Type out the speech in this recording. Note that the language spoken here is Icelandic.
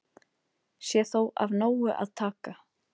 Sé þó af nógu að taka